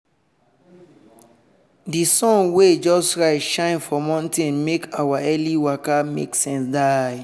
di sun wey just rise shine for mountain make our early waka make sense die.